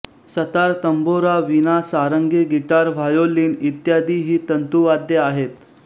सतारतंबोरा वीणा सारंगी guitar violin इत्यादी ही तंतुवाद्ये होत